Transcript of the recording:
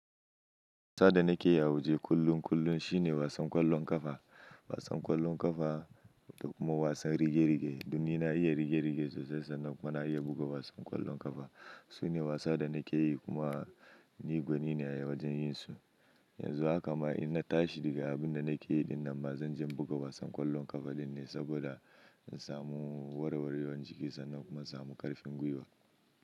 Wasan da nake yi a wa je kullun kullun shine wasan ƙwallon ƙafa, wasan ƙwallon ƙafa da kuma wasan rige-rige. Don ni na iya rige-rige sosai sannan kuma na iya buga wasan ƙwallon ƙafa. Sune wasa da nake yi kuma ni gwani ne a wajen yin su. Yanzu haka ma in na tashi daga abin da nake yi dinnan ba, zan je buga wasan ƙwallon ƙafa din ne saboda in samu warwarewar jiki sannan kuma in samu ƙarfin gwiwa.